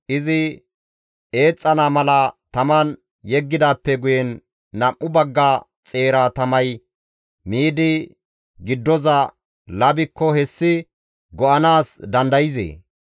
Izi eexxana mala taman yeggidaappe guyen nam7u bagga xeera tamay miidi giddoza labikko hessi go7anaas dandayzee?